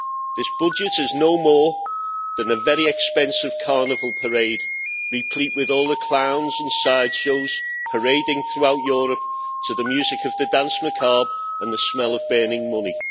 This budget is no more than a very expensive carnival parade, replete with all the clowns and sideshows, parading throughout Europe to the music of the danse macabre and the smell of burning money.